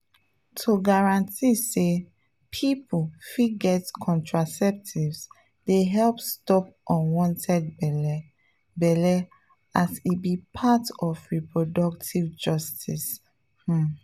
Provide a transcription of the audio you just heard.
to guarantee say people fit get contraceptives dey help stop unwanted belle belle as e be part of reproductive justice[ um]